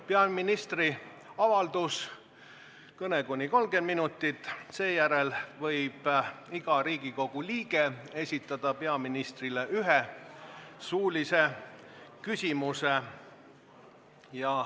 Peaministri kõne on kuni 30 minutit, seejärel võib iga Riigikogu liige esitada peaministrile ühe suulise küsimuse.